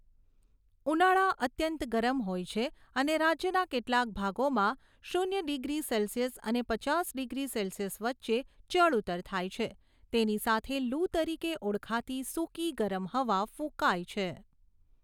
ઉનાળા અત્યંત ગરમ હોય છે અને રાજ્યના કેટલાક ભાગોમાં શૂન્ય ડિગ્રી સેલ્સિયસ અને પચાસ ડિગ્રી સેલ્સિયસ વચ્ચે ચડ ઊતર થાય છે, તેની સાથે લૂ તરીકે ઓળખાતી સૂકી ગરમ હવા ફૂંકાય છે.